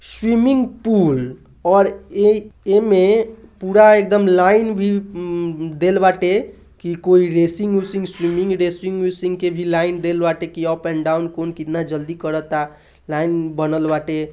swimming pool और ए एमे पुरा एकदम लाइन भी उम्म देल बाटे की कोइ रेसिंग उसिंग स्विमिंग रेसिंग के भी लाइन देल बाटे की अप एंड डाउन कौन केतना जल्दी करता | लाइन बनल बाटे |